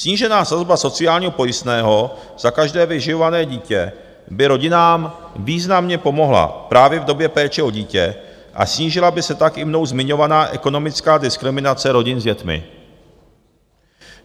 Snížená sazba sociálního pojistného za každé vyživované dítě by rodinám významně pomohla právě v době péče o dítě a snížila by se tak i mnou zmiňovaná ekonomická diskriminace rodin s dětmi.